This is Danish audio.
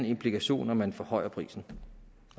implikation når man forhøjer prisen